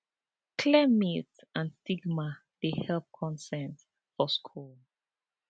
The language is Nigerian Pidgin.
clear myth and stigma dey help consent for school